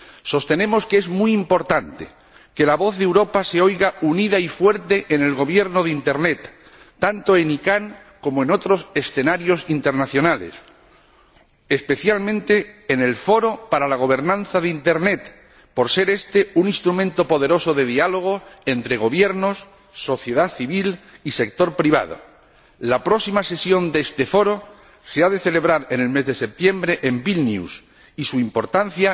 Sostenemos que es muy importante que la voz de Europa se oiga unida y fuerte en el gobierno de Internet, tanto en la ICANN como en otros escenarios internacionales, especialmente en el Foro para la gobernanza de Internet, por ser éste un instrumento poderoso de diálogo entre gobiernos, sociedad civil y sector privado. La próxima sesión de este Foro se ha de celebrar en el mes de septiembre en Vilnius y su importancia